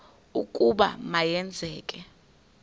ukuba ma yenzeke